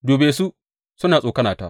Dube su suna tsokanata!